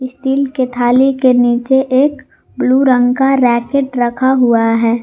Steel के थाली के नीचे एक ब्लू रंग का रैकेट रखा हुआ है।